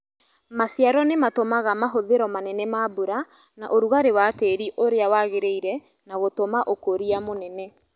Maciaro nĩmatũmaga mahũthĩro manene ma mbura na ũrugarĩ wa tĩri ũrĩa wagĩrĩire na gũtũma ũkũria mũnene